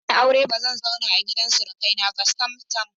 Idan na yi aure ba zan zauna a gidan surukaina ba sam-sam.